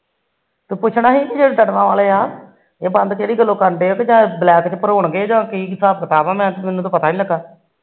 ਤੂੰ ਪੁਛਣਾ ਸੀ ਤੜਵਾ ਵਾਲੇ ਆ ਇਹ ਬੰਦ ਕਿਹੜੀ ਗੱਲੋ ਕਰਦੇ ਬਲੈਕ ਚ ਭਰੋਣਗੇ ਜਾ ਕੀ ਹਿਸਾਬ ਕਿਤਾਬ ਆ ਮੈਨੂੰ ਤਾ ਪਤਾ ਨੀ ਲੱਗਾ